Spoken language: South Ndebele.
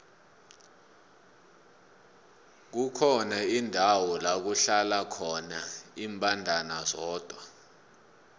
kukhona indawo lakuhlala khona imbandana zodwa